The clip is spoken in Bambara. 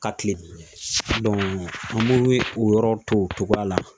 Ka kilen an b'u o yɔrɔ to o cogoya la .